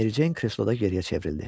Mericeyin kresloda geriyə çevrildi.